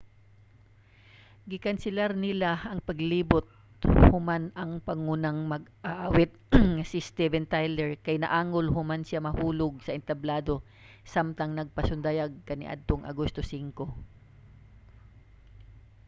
gikanselar nila ang paglibot human ang pangunang mag-aawit nga si steven tyler kay naangol human siya nahulog sa entablado samtang nagpasundayag kaniadtong agosto 5